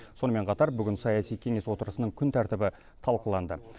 сонымен қатар бүгін саяси кеңес отырысының күн тәртібі талқыланды